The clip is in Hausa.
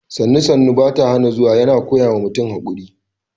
“Sannu-Sannu baya hana zuwa” yana koya wa mutum haƙuri